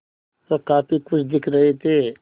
वह काफ़ी खुश दिख रहे थे